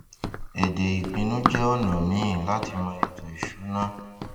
èdè ìpínu jẹ ona míì láti mọ ètò ìṣúná